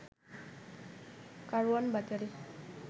কারওয়ান বাজারে